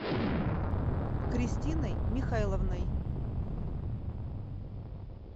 кристиной михайловной